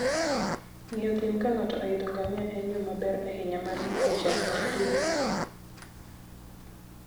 Ng'iyo thim ka ng'ato oidho ngamia en yo maber ahinya mar ng'eyo chal mar thim.